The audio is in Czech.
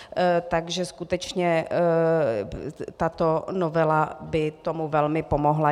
Takže skutečně tato novela by tomu velmi pomohla.